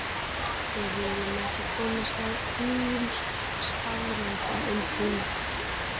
við viljum ekki komast að nýjum staðreyndum um tímann